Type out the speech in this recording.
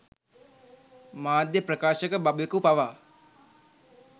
මාධ්‍ය ප්‍රකාශක බබෙකු පවා